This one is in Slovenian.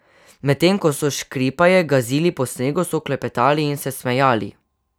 Medtem ko so škripaje gazili po snegu, so klepetali in se smejali.